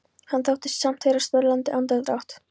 Hann þóttist samt heyra snörlandi andardrátt.